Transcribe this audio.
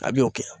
A bɛ o kɛ